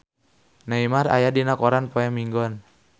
Neymar aya dina koran poe Minggon